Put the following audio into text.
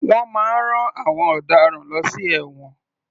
Wọ́n máa ń rán àwọn ọ̀daràn lọ sí ẹ̀wọ̀n.